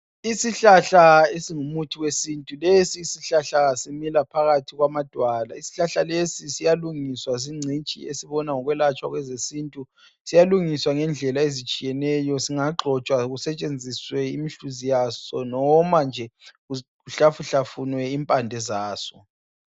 Isihlahla esingumuthi wesintu lesi sihlahla simila phakathi kwamadwala. Isihlahla lesi siyalungiswa zingcitshi ezibona ngokwelatshwa kwezesintu. Siyalungiswa ngendlela ezitshiyeneyo, singagxotshwa kusetshenziswe umhluzi waso noma kuhlafuhlafunwe impande zaso.